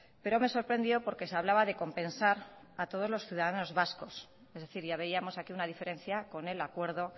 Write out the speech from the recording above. pero me sorprendió porque se hablaba de compensar a todos los ciudadanos vascos es decir ya veíamos aquí una diferencia con el acuerdo